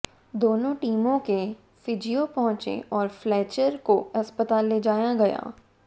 दोनों टीमों के फीजियो पहुंचे और फ्लेचर को अस्पताल ले जाया गया